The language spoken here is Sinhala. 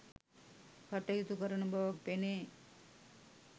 කටයුතු කරන බවක් පෙනේ.